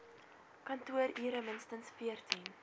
kantoorure minstens veertien